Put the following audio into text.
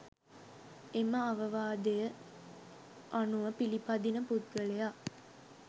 එම අවවාදය අනුව පිළිපදින පුද්ගලයා